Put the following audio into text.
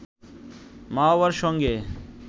মা-বাবার সঙ্গে